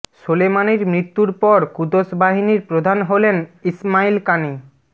সোলেমানির মৃত্যুর পর কুদস বাহিনীর প্রধান হলেন ইসমাইল কানি